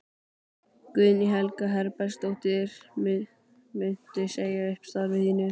Guðný Helga Herbertsdóttir: Muntu segja upp starfi þínu?